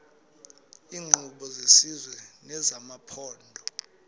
iinkqubo zesizwe nezamaphondo